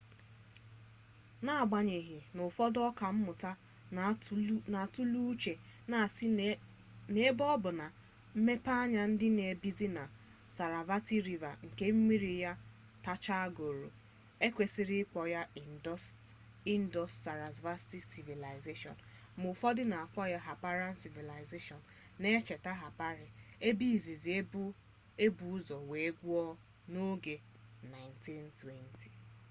n'agbanyeghi n'ufodu oka mmuta n'atulee uche na asi n'ebe o bu na mmepeanya di na bezin nke sarasvati river nke mmiri ya tacha goru ekwesiri ikpo ya indus-sarasvati civilization ma ufodu n'akpo ya harappan civilization na ncheta harappa ebe izizi ebu uzo were gwuo n'oge 1920